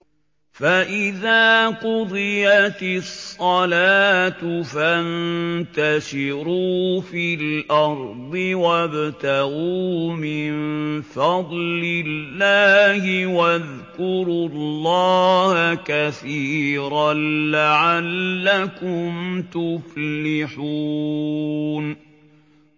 فَإِذَا قُضِيَتِ الصَّلَاةُ فَانتَشِرُوا فِي الْأَرْضِ وَابْتَغُوا مِن فَضْلِ اللَّهِ وَاذْكُرُوا اللَّهَ كَثِيرًا لَّعَلَّكُمْ تُفْلِحُونَ